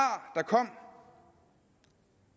der kom